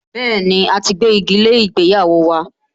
Bẹ́ẹ̀ni, a ti gbégi lé ìgbéyàwó